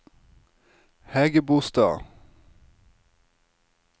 Hægebostad